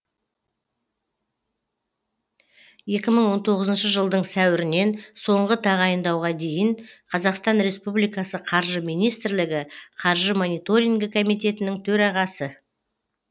екі мың он тоғызыншы жылдың сәуірінен соңғы тағайындауға дейін қазақстан республикасы қаржы министрлігі қаржы мониторингі комитетінің төрағасы